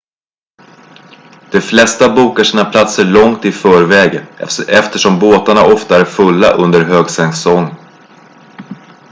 de flesta bokar sina platser långt i förväg eftersom båtarna ofta är fulla under högsäsong